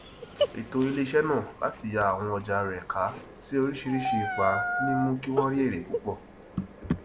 ètò iléiṣẹ náà láti yà àwọn ọja rẹ ká sí oríṣìíríṣìí ipa ni mú kí wọn rí èrè púpọ